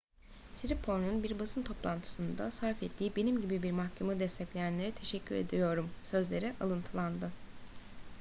siriporn'un bir basın toplantısında sarf ettiği benim gibi bir mahkumu destekleyenlere teşekkür ediyorum sözleri alıntılandı